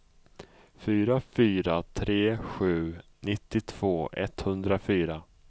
fyra fyra tre sju nittiotvå etthundrafyra